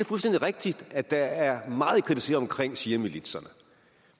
fuldstændig rigtigt at der er meget at kritisere omkring shiamilitserne